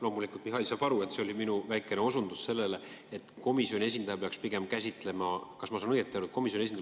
Loomulikult, Mihhail saab aru, et see oli minu väikene osutus sellele, et komisjoni esindaja peaks pigem käsitlema komisjoni arutluskäiku.